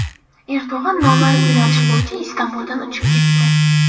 Erdo‘g‘on noma’lum yo‘nalish bo‘yicha Istanbuldan uchib ketdi.